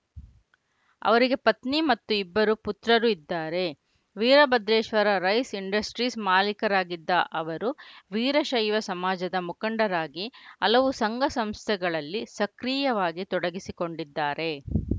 ಅವರಿಗೆ ಪತ್ನಿ ಮತ್ತು ಇಬ್ಬರು ಪುತ್ರರು ಇದ್ದಾರೆ ವೀರಭದ್ರೇಶ್ವರ ರೈಸ್‌ ಇಂಡಸ್ಟ್ರೀಸ್‌ ಮಾಲೀಕರಾಗಿದ್ದ ಅವರು ವೀರಶೈವ ಸಮಾಜದ ಮುಖಂಡರಾಗಿ ಹಲವು ಸಂಘ ಸಂಸ್ಥೆಗಳಲ್ಲಿ ಸಕ್ರಿಯವಾಗಿ ತೊಡಗಿಸಿಕೊಂಡಿದ್ದಾರೆ